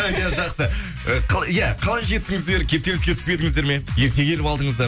иә жақсы э иә қалай жеттіңіздер кептеліске түспедіңіздер ме ерте келіп алдыңыздар